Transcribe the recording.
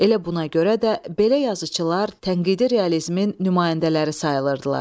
Elə buna görə də belə yazıçılar tənqidi realizmin nümayəndələri sayılırdılar.